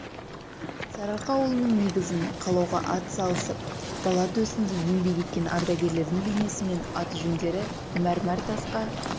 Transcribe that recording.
сарыарқа ауылының негізін қалауға ат салысып дала төсінде еңбек еткен ардагерлердің бейнесі мен аты-жөндері мәрмәр тасқа